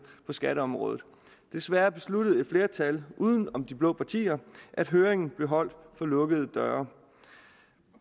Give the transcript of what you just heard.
på skatteområdet desværre besluttede et flertal uden om de blå partier at høringen blev holdt for lukkede døre